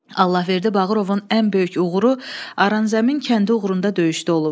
Allahverdi Bağırovun ən böyük uğuru Aranzəmin kəndi uğrunda döyüşdə olub.